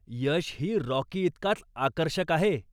यशही रॉकीइतकाच आकर्षक आहे.